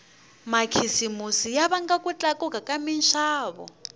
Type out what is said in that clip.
makhisimusi ya vanga ku tlakuka ka minxavo